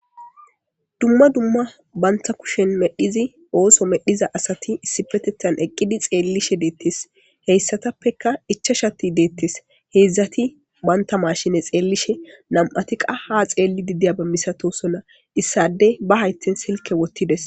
dumma dumma banta kushen medhizi ooso medhiza asati issipetethan eqqidi xeellishe deettes heyssatappeka ichashati deettes heedzdzati banta mashine xeellishe nam7atiqa ha xeelli didiya ba misatosonna issade ba haytten silke wottides